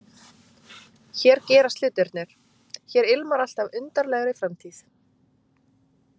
Hér gerast hlutirnir, hér ilmar allt af undarlegri framtíð.